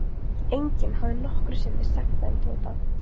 Enginn hafði nokkru sinni sagt það um Tóta.